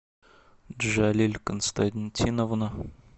джалиль константиновна